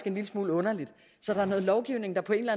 en lille smule underligt noget lovgivning har på en